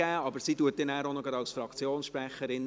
Sie spricht zugleich als Fraktionssprecherin.